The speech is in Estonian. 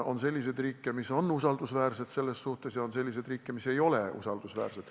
On selliseid riike, mis on selles suhtes usaldusväärsed, ja on riike, mis ei ole usaldusväärsed.